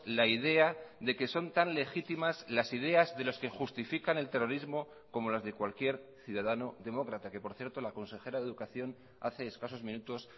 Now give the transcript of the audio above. la idea de que son tan legítimas las ideas de los que justifican el terrorismo como las de cualquier ciudadano demócrata que por cierto la consejera de educación hace escasos minutos